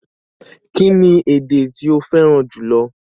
Kíni èdè tí o fẹ́ran júlọ̀?